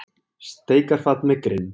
Steikarfat með grind.